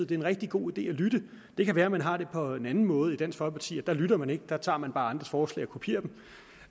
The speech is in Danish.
det er en rigtig god idé at lytte det kan være man har det på en anden måde i dansk folkeparti der lytter man ikke der tager man bare andres forslag og kopierer dem